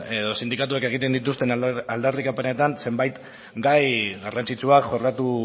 edo sindikatuek egiten dituzten aldarrikapenetan zenbait gai garrantzitsuak jorratu